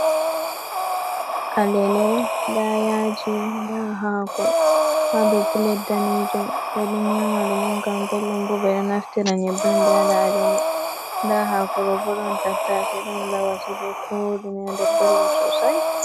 Alele, ndaa yaaji ,ndaa haako haa dow pulet daneejum be ɗon nyaama ɗum ngam belɗum bo. Ɓe ɗo naftira nyebbe on, ɓe waɗa alele ,ndaa haako ɗo bo, ɗon tattase ndaa lawasi be koɗume a nder belɗum sosay.